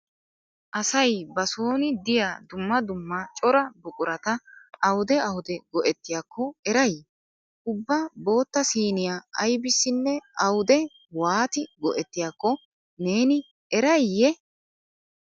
Asay ba sooni diya dumma dumma cora buqurata awude awude go'ettiyakko eray? Ubba bootta siiniya aybissinne awude waati go'ettiyakko neeni erayiyye?